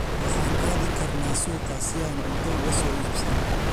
Waxaan aadi karnaa suuqa si aan cunto uga soo iibsano.